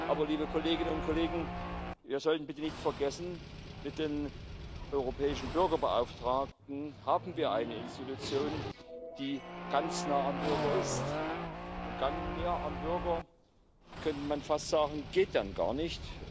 Aber, liebe Kolleginnen und Kollegen, wir sollten bitte nicht vergessen Mit dem Europäischen Bürgerbeauftragten haben wir eine Institution, die ganz nah am Bürger ist, und näher am Bürger, könnte man fast sagen, geht dann gar nicht.